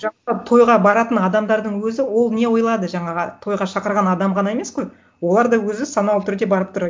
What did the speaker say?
тойға баратын адамдардың өзі ол не ойлады жаңағы тойға шақырған адам ғана емес қой олар да өзі саналы түрде барып тұр